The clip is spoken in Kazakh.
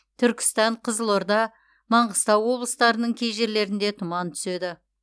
түркістан қызылорда маңғыстау облыстарының кей жерлеріңде тұман түседі